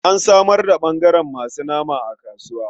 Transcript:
An samar da ɓangaren masu nama a kasuwa.